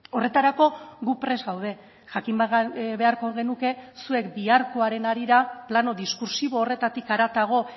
horretarako gu prest gaude jakin beharko genuke zuek biharkoaren harira plano diskurtsibo horretatik haratago